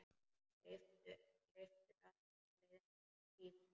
Leiftur frá liðnum tíma.